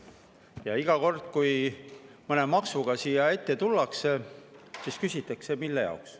Ja iga kord, kui mõne maksuga siia ette tullakse, küsitakse, mille jaoks.